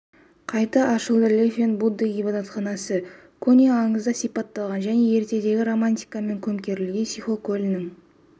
қайта ашылды лэйфэнт будда ғибадатханасы көне аңызда сипатталған жне ертедегі романтикамен көмкерілген сиху көлінің